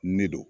Ne don